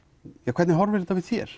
hvernig horfir þetta við þér